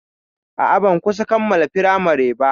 A'a, ban kusan kammala firamari ba.